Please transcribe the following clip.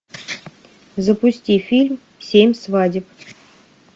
запусти фильм семь свадеб